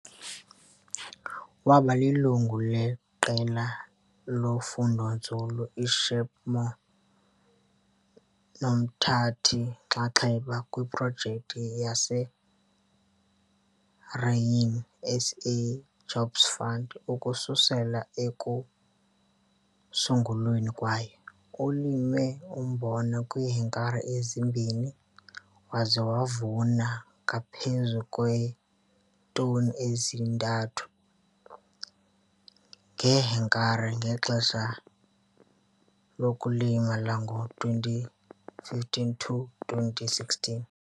Waba lilungu leQela loFundonzulu iSheepmoor nomthathi-nxanxeba kwiProjekthi yaseGrain SA yeJobs Fund ukususela ekusungulweni kwayo. Ulime umbona kwiihektare ezimbini waze wavuna ngaphezu kweetoni ezi-3 ngehektare ngexesha lokulima lango-2015 to 2016.